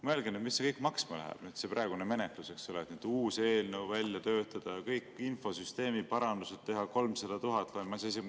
Mõelge, mis see kõik maksma läheb, see praegune menetlus, et uus eelnõu välja töötada ja kõik infosüsteemi parandused teha 300 000.